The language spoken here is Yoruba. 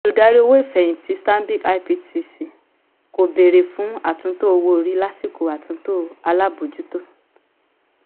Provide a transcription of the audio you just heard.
olùdarí owó ìfẹ̀hìntì stanbic ibtc kò béèrè fún àtúntò owó orí lásìkò àtúntò alábòójútó.